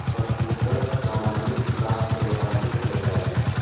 Toshkentda zamonaviy raqs bayrami o‘tkaziladi.